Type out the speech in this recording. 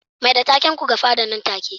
Mai da taken ku ga fada nan take